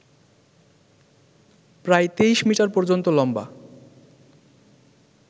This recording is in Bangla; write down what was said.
প্রায় তেইশ মিটার পর্যন্ত লম্বা